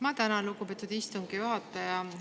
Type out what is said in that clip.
Ma tänan, lugupeetud istungi juhataja!